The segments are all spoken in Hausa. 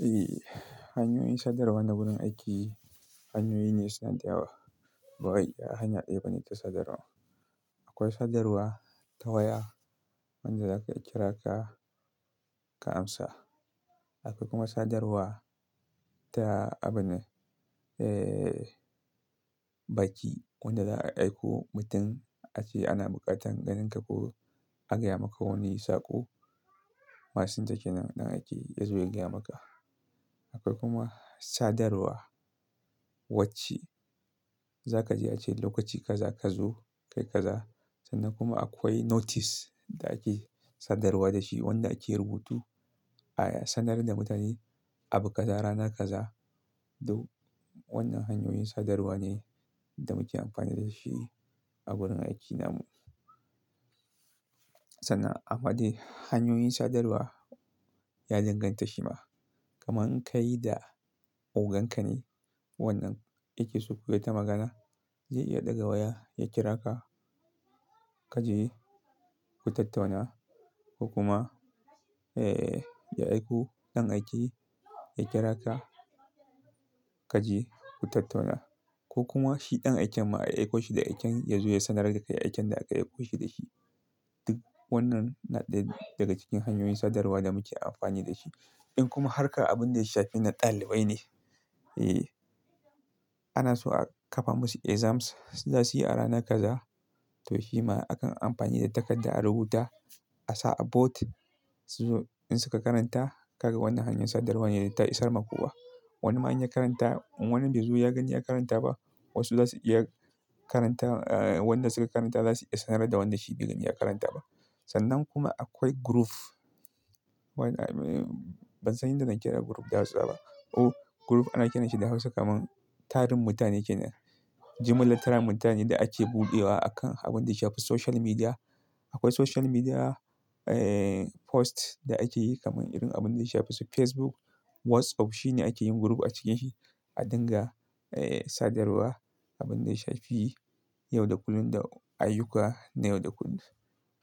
Eh, hanyoyin sadarwa na wurin aiki hanyoyi ne suna da yawa. Ba wai a hanya ɗaya bane ta sadarwa. Akwai sadarwa ta waya wanda za ka kira ka, ka amsa. Akwai kuma sadarwa ta abune, eh, baki wanda za a aiko mutum ace ana buƙatar ganinka ko agaya maka wani saƙo. Masinja ke nan ɗan aiki yazo ya gaya maka. Akwai kuma sadarwarwacce za ka ji a ce lokaci kaza ka zo kai kaza. Sannan kuma akwai notice da ake sadarwa da shi wanda ake rubutu a ya sanar da mutane abu kaza rana kaza. Duk wannan hanyoyin sadarwa ne da muke amfani da shi a wurin aiki namu. Sannan amma dai hanyoyin sadarwa ya dangan tashe ma. Kaman kai da ogonka ne wannan yakeso kuyi wata magana zai iya ɗaga waya ya kira ka kaje ku tattauna ko kuma, eh, ya aiko ɗan aiki ya kira ka kaje ku tattauna ko kuma shi ɗan aiken ma a aiko shi da aiken yazo ya sanar da kai aiken da aka aiko shi da shi. Duk wannan na ɗaya daga cikin hanyoyin sadarwa da muke amfani da shi. In kuma harka abin da ya shafi na ɗalibai ne, eh, ana so a kafa musu exams za su yi a rana kaza. To shi ma akan amfani da takarda a rubuta a sa a boat. Su zo in suka karanta ka ga wannan hanyar sadarwa ne da ta isar ma kowa. Wani ma inya karanta in wannan bai zo ya gani ya karanta ba wasu za su iya karanta, eh, wanda suka karanta za su iya sanar da wanda shi bai gani ya karanta ba. Sannan kuma akwai group. Wannan, ban san yanda na kira group da Hausa ba. Oh, group ana kiranshi da Hausa kaman tarin mutane kenan. Gmail littern mutane da ake buɗewa akan abin da ya shafi social media. Akwai social media, eh, post da ake yi kaman irin abin da ya shafi su Facebook. WhatsApp shi ne ake yin group a cikanshi a dinga, eh, sadarwa abin da ya shafi yau da kullum da ayyuka na yau da kullum.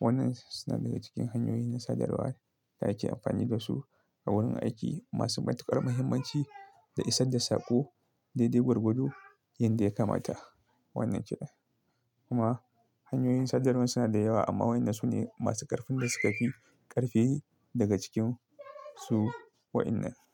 Wannan suna daga cikin hanyoyi na sadarwa da ake amfani da su a wurin aiki masu matuƙar muhimmanci da isar da saƙo daidai gwargwado yanda ya kamata. Wannan kenan. Kuma hanyoyin sadarwa suna da yawa amma waɗannan su ne masu ƙarfin da suka fi ƙarfi daga cikin su waɗannan.